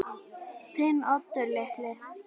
Þinn Oddur litli.